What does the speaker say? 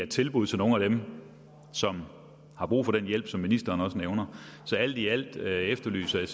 tilbud til nogle af dem som har brug for den hjælp som ministeren også nævner så alt i alt efterlyser jeg